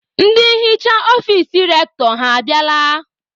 Ndị nhicha ọfici Rektọ ha abịala?